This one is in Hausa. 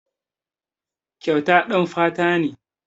Kyauta ɗan fata ne.